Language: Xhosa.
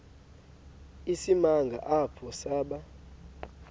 isimanga apho saba